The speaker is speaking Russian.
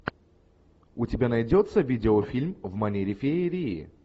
у тебя найдется видеофильм в манере феерии